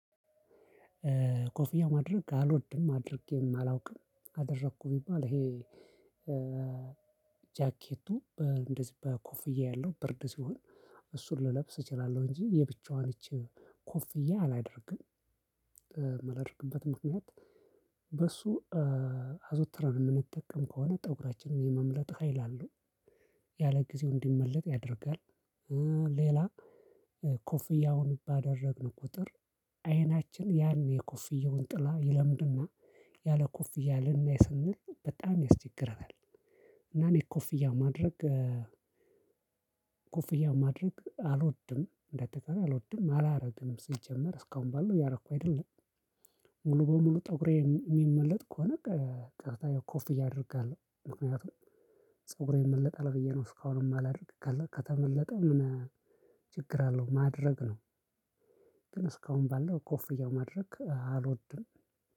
ኮፍያ ማድረግ አልወድም። አድርጌም አላውቅም። አደረኩ ቢባል ይሄ ጃኬቱ እንደዚህ በኮፍያ ያለው ብርድ ሲሆን እሱን ልለብስ እችላለሁ እንጂ የብቻዋን እቺ ኮፍዬ አላደርግም። የማላደርግበት ምክንያት በሱ አዘውትረን የምንጠቀም ከሆነ ፀጉራችንን የመምለጥ ሀይል አለው። ያለ ጊዜው እንዲመለጥ ያደርጋል። ሌላ ኮፍያውን ባደረግን ቁጥር አይናችን ያን የኮፍየውን ጥላ ይለምድና ያለ ኮፍያ ልናይ ስንል በጣም ያስቸግረናል። እና እኔ ኮፍያ ማድረግ ኮፍያ ማድረግ አልወድም። እንደ አጠቃላይ አልወድም። አላደርግም ሲጀመር። እስካሁን ባለው እያደረኩ አይደለም። ሙሉ በሙሉ ጠጉሬ የሚመለጥ ከሆነ ቀጥታ ያው ኮፍያ አደርጋለሁ። ምክንያቱም ፀጉሬ ይመለጣል ብዬ ነው እስካሁን የማላደርገው ከተመለጠ ምን ችግር አለው? ማድረግ ነው። ግን እስካሁን ባለው ኮፍያው ማድረግ አልወድም።